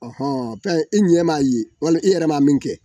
Ɔhɔn pɛn i ɲɛ m'a ye walima i yɛrɛ m'a min kɛ